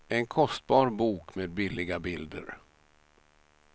En kostbar bok med billiga bilder.